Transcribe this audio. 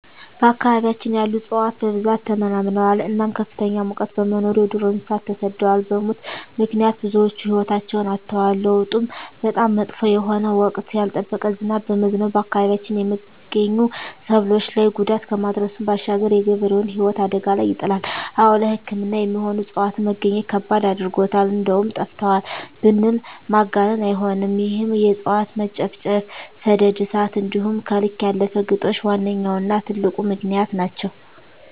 በአካባቢያችን ያሉ እፅዋት በብዛት ተመናምነዋል እናም ከፍተኛ ሙቀት በመኖሩ የዱር እንሰሳት ተሰደዋል በሙት ምክንያት ብዙወች ህይወታቸዉን አጠዋል። ለዉጡም በጣም መጥፎ የሆነ ወቅቱን ያልጠበቀ ዝናብ በመዝነቡ በአካባቢያችን የመገኙ ሰብሎች ላይ ጉዳት ከማድረሱም ባሻገር የገበሬዉን ህይወት አደጋ ላይ ይጥላል። አወ ለሕክምና የሚሆኑ እፅዋትን መግኘት ከባድ አድርጎታል እንደዉም ጠፍተዋል ብንል ማጋነን አይሆንም ይህም የእፅዋት መጨፍጨፍ፣ ሰደድ እሳት እንዲሆም ከልክ ያለፈ ግጦሽ ዋነኛዉና ትልቁ ምክንያት ናቸዉ።